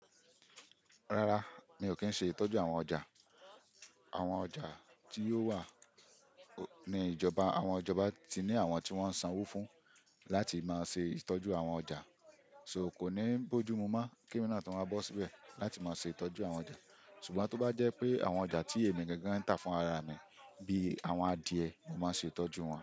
Rárá, mi ò kí ń ṣe ìtọ́jú àwọn ọjà. Àwọn ọjà tí yóò wà ní ìjọba, àwọn ìjọba ti ní àwọn tí wọ́n ń sanwó fún láti máa ṣe ìtọ́jú àwọn ọjà. So kò ní bójú mu mon kí emi náà tun wá bọ́ síbẹ̀ láti má ṣe ìtọ́jú àwọn ọjà. Ṣùgbọ́n tó bá jẹ́ pé àwọn ọjà tí èmi gangan ń tà fún ara mi bíi àwọn adìẹ, mo máa ṣe ìtọ́jú wọn.